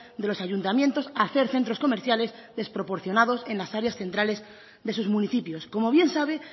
de los ayuntamientos a hacer centros comerciales desproporcionados en las áreas centrales de sus municipios como bien sabe